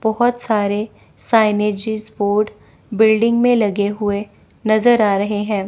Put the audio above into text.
बहोत सारे signages board building में लगे हुए नजर आ रहे हैं।